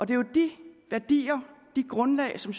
det er jo de værdier det grundlag som